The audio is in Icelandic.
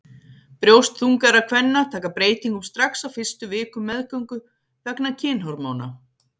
Brjóst þungaðra kvenna taka breytingum strax á fyrstu vikum meðgöngu vegna kynhormóna.